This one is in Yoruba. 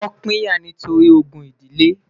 wón pínyà nítorí ògún idile